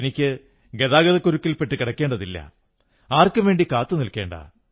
എനിക്ക് ഗതാഗതക്കുരുക്കിൽ പെട്ടു കിടക്കേണ്ടതില്ല ആർക്കും വേണ്ടി കാത്തുനിൽക്കേണ്ട